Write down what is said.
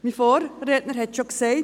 Mein Vorredner hat es schon gesagt: